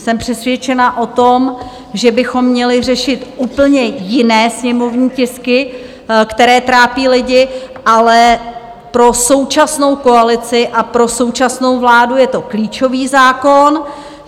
Jsem přesvědčená o tom, že bychom měli řešit úplně jiné sněmovní tisky, které trápí lidi, ale pro současnou koalici a pro současnou vládu je to klíčový zákon.